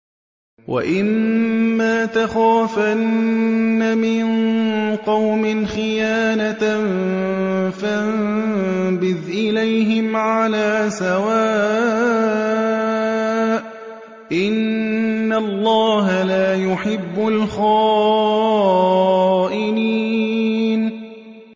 وَإِمَّا تَخَافَنَّ مِن قَوْمٍ خِيَانَةً فَانبِذْ إِلَيْهِمْ عَلَىٰ سَوَاءٍ ۚ إِنَّ اللَّهَ لَا يُحِبُّ الْخَائِنِينَ